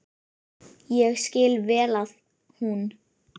Ég skil vel að hún.